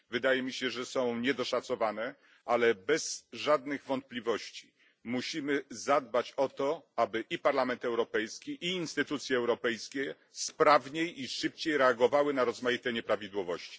Wydaje mi się, że są niedoszacowane, ale bez żadnych wątpliwości musimy zadbać o to, aby i Parlament Europejski, i instytucje europejskie sprawniej i szybciej reagowały na rozmaite nieprawidłowości.